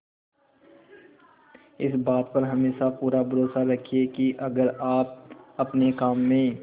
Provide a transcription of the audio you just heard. इस बात पर हमेशा पूरा भरोसा रखिये की अगर आप अपने काम में